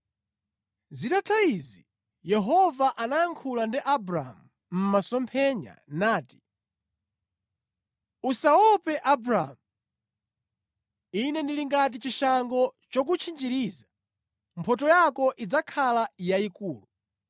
Zitatha izi, Yehova anayankhula ndi Abramu mʼmasomphenya nati: “Usaope Abramu. Ine ndili ngati chishango chokutchinjiriza. Mphotho yako idzakhala yayikulu.”